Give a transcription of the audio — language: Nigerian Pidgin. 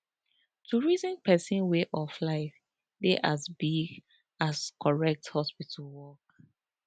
to reason person way of life dey as big as correct hospital work